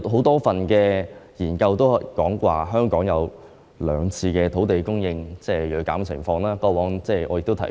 多份研究均指出，香港有兩次土地供應銳減的情況，過往我也曾提及。